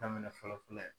Daminɛ fɔlɔ fɔlɔ fɔlɔ ye